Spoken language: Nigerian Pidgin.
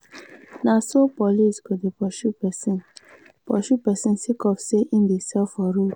na so police go dey pursue pesin pursue pesin sake of sey e dey sell for road.